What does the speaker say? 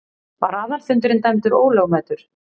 Var aðalfundurinn dæmdur ólögmætur.